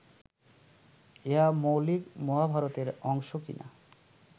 ইহা মৌলিক মহাভারতের অংশ কি না